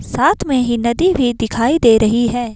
साथ में ही नदी भी दिखाई दे रही है।